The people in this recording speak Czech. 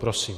Prosím.